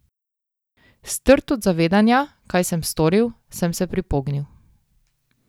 Strt od zavedanja, kaj sem storil, sem se pripognil.